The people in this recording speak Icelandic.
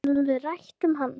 Getum við rætt um hann?